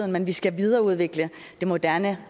men vi skal videreudvikle det moderne